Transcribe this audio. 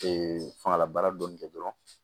fangalabaara dɔɔni kɛ dɔrɔn